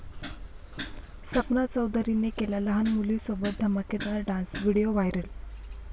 सपना चौधरीने केला लहान मुलीसोबत धमाकेदार डान्स, व्हिडीओ व्हायरल